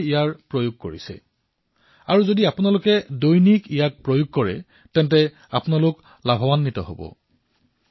গৰম পানী ভেষজ পদাৰ্থ আৰু অন্য যি দিশনিৰ্দেশনা আয়ুষ মন্ত্ৰালয়ে জাৰি কৰিছে সেয়া নিজৰ দৈনন্দিন জীৱনত চামিল কৰিলে আপোনালোক উপকৃত হব